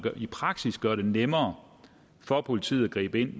i praksis gør det nemmere for politiet at gribe ind